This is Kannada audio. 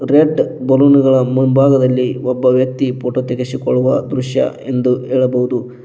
ರೆಡ್ ಬಲೂನ್ ಗಳ ಮುಂಭಾಗದಲ್ಲಿ ಒಬ್ಬ ವ್ಯಕ್ತಿ ಫೋಟೋ ತೆಗೆಸಿಕೊಳ್ಳುವ ದೃಶ್ಯ ಎಂದು ಹೇಳಬಹುದು.